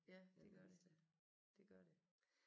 Ja det gør det det gør det